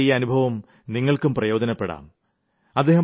അദ്ദേഹത്തിന്റെ ഈ അനുഭവം നിങ്ങൾക്കും പ്രയോജനപ്പെടാം